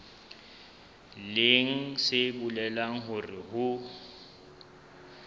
leng se bolelang hore ho